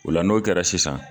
O la n'o kɛra sisan